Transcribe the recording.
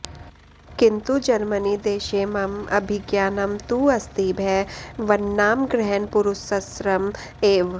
किन्तु जर्मनीदेशे मम अभिज्ञानं तु अस्ति भवन्नामग्रहणपुरस्सरम् एव